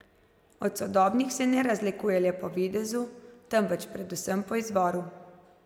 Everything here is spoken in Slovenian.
Od sodobnih se ne razlikujejo le po videzu, temveč predvsem po izvoru.